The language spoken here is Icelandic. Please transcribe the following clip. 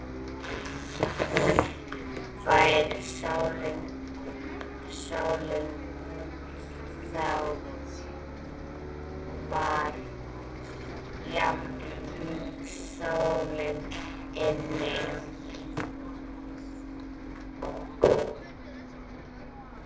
Væri ekki sól úti, þá var jafnan sól inni.